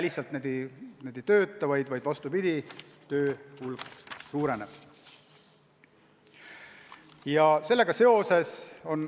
Nad ei jää tööta, vaid vastupidi: töö hulk suureneb.